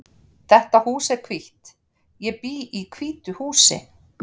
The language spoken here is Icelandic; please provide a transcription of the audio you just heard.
Þetta hús er hvítt. Ég bý í hvítu húsi.